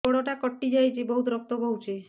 ଗୋଡ଼ଟା କଟି ଯାଇଛି ବହୁତ ରକ୍ତ ବହୁଛି